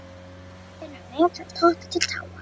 VAFIN um mig frá toppi til táar